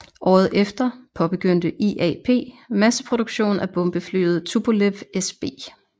Året efter påbegyndte IAP masseproduktion af bombeflyet Tupolev SB